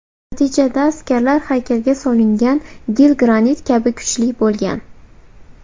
Natijada askarlar haykalga solingan gil granit kabi kuchli bo‘lgan.